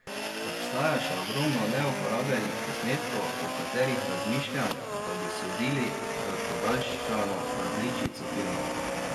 Obstaja še ogromno neuporabljenih posnetkov, o katerih razmišljam, da bi sodili v podaljšano različico filma.